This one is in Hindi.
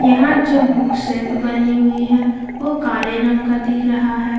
यहां जो बुक शेल्फ बनी हुई है वो काले रंग का दिख रहा है।